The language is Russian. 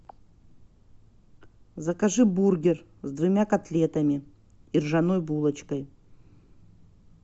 закажи бургер с двумя котлетами и ржаной булочкой